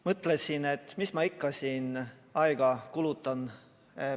Mõtlesin, et mis ma ikka siin aega kulutan.